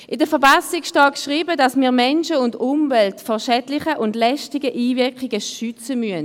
In der Verfassung steht geschrieben, dass wir Mensch und Umwelt vor schädlichen und lästigen Einwirkungen schützen müssen.